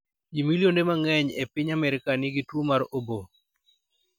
Ji milionde mang�eny e piny Amerka nigi tuwo mar obo.